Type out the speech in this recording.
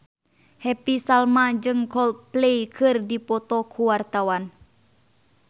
Happy Salma jeung Coldplay keur dipoto ku wartawan